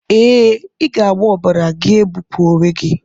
Ee, ị ga-agba ọbara gị ebipụ onwe gị.